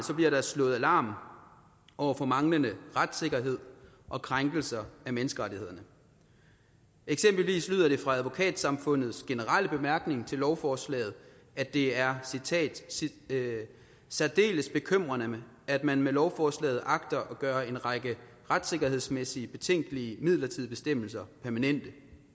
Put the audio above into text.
bliver der slået alarm over for manglende retssikkerhed og krænkelser af menneskerettighederne eksempelvis lyder det fra advokatsamfundets generelle bemærkninger til lovforslaget at det er særdeles bekymrende at man med lovforslaget agter at gøre en række retssikkerhedsmæssige betænkelige midlertidige bestemmelser permanente